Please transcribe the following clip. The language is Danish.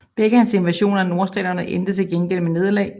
Begge hans invasioner af Nordstaterne endte til gengæld med nederlag